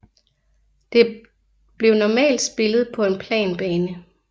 Det blev normalt spillet på en plan bane